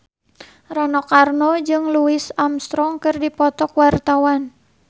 Rano Karno jeung Louis Armstrong keur dipoto ku wartawan